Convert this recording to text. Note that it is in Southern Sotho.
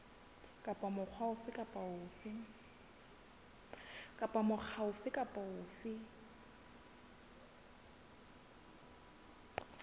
kapa mokga ofe kapa ofe